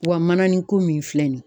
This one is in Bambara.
Wa manani ko min filɛ nin ye